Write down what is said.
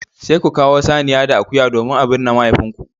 Sai ku kawo saniya da akuya domin a binne mahaifinku